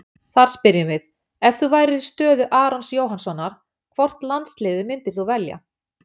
Þar spyrjum við: Ef þú værir í stöðu Arons Jóhannssonar, hvort landsliðið myndir þú velja?